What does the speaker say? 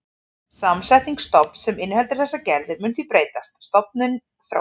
Samsetning stofns sem inniheldur þessar gerðir mun því breytast, stofninn þróast.